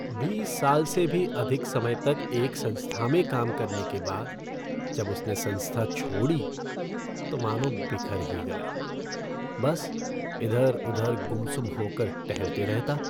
बीस साल से भी अधिक समय तक एक संस्था में काम करने के बाद जब उसने संस्था छोड़ी तो मानो बिखर ही गया। बस इधर उधर गुमसुम होकर टहलते रहता।